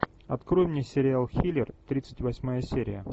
открой мне сериал хилер тридцать восьмая серия